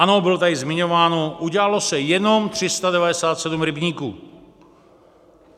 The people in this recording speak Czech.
Ano, bylo tady zmiňováno, udělalo se jenom 397 rybníků.